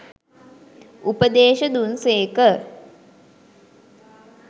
උපදේශ දුන් සේක.